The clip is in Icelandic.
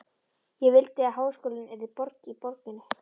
Ég vildi að háskólinn yrði borg í borginni.